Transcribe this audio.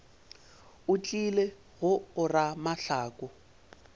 o tlile go ora mahlaku